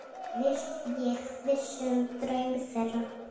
Ég vissi um draum þeirra.